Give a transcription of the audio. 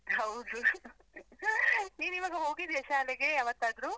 ಹೌದು , ನೀನ್ ಈವಾಗ ಹೋಗಿದ್ಯಾ ಶಾಲೆಗೆ ಯಾವತ್ತಾದ್ರು?